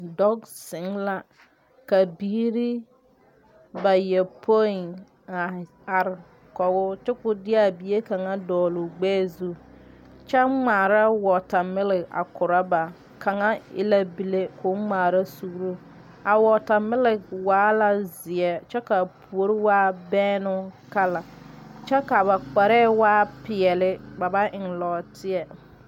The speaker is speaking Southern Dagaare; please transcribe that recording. Dɔg zeŋ la ka biire bayɔpoi a are kɔgoo kyo koo de aa bie kaŋa dɔɔloo gbɛɛ zu kyɛ ngmaara wɔɔtamilik a korɔ ba kaŋa e la bile koo ngmaara suuroo a wɔɔtamilik waa la zeɛ kyɛ kaa puori waa bɛɛnoŋ kala kyɛ ka ba kparɛɛ waa peɛɛli ba ba eŋ lɔɔteɛ.